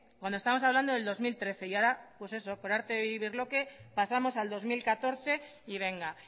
cuando estamos hablando del dos mil trece y ahora pues eso por arte de birlibirloque pasamos al dos mil catorce y venga